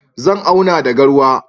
Zan auna da garwa.